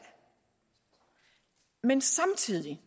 men samtidig